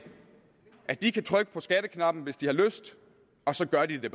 at de kan trykke på skatteknappen hvis de har lyst og så gør de det